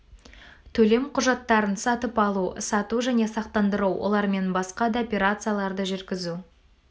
төлем құжаттарын сатып алу сату және сақтандыру олармен басқа да операцияларды жүргізу